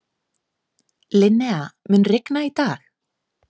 Linnea, mun rigna í dag?